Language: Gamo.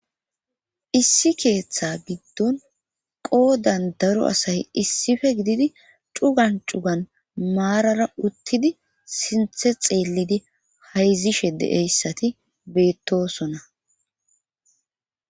issi keeththa giddon qoodan daro asay issippe gididi cugan cugan maarara uttidi sinthe xeellidi hayzishe de7eyssati beettosona